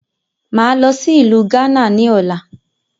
Máa lọ sí ìlú gánà ni ọ̀la